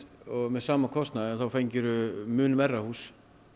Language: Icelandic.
og sama kostnaði þá fengirðu mun verra hús